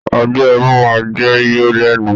Ọgbẹ ẹnu máa n jẹ yọ lẹnu.